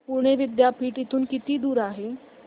पुणे विद्यापीठ इथून किती दूर आहे